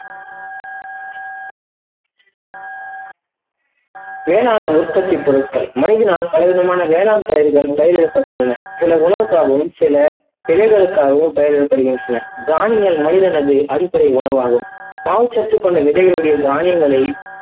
வேளாண் உற்பத்தி பொருட்கள் மனிதனால் பலவிதமான வேளாண் பயிர்கள் பயிரிடப்பட்டுள்ளன. சில உணவுகாகவும், சில திலைகளுக்காகவும் பயிரிடப்படுகின்றன. வானிலை மனிதனுக்கு அடிப்படை உணவாகும். மாவு சத்து கொண்ட விதைகளுடைய தானியங்களை